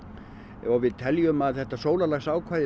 og við teljum að þetta sólarlagsákvæði